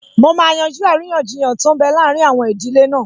Mo máa yanjú àríyànjiyàn tó n bẹ láàrin àwọn ìdílé náà